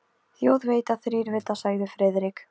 Þjóð veit þá þrír vita sagði Friðrik.